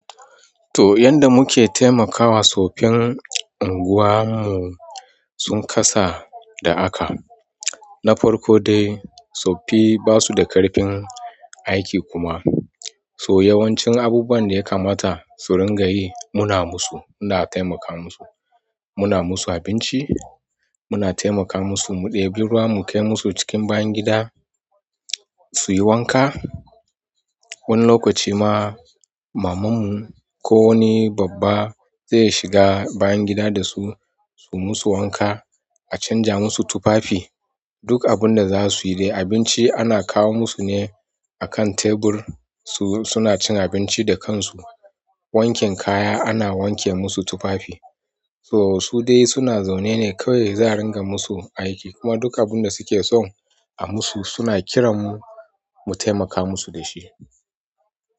To, yanda muke taimakawa, tsoffin unguwa mu sun kasa da aka. Na farko dai tsoffi ba su da ƙarfin aiki kuma. To yawancin abubuwan da ya kamata su ringa yi muna musu. Muna taimaka musu. Muna musu abinci, muna temaka musu, mu ɗebi ruwa mukai musu cikin bayan gida suyi wanka. Wani lokaci ma mamanmu ko wani babba zai shiga bayan gida da su, su musu wanka, a canja musu tufafi. Duk abun da za su yi dai abinci ana kawo musu ne a kan tebur su suna cin abinci da kansu. Wanken kaya ana wanke musu tufafi. To su dai suna zaune ne kawai za a ringa musu aiki. Kuma duk abun da suke so a musu suna kiran mu mu taimaka musu da shi.